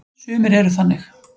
Sumir eru þannig.